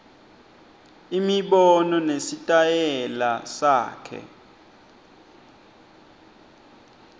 imibono nesitayela sakhe